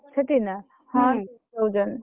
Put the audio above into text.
ସେଠି ନା? ହଁ ଦଉଛନ୍ତି।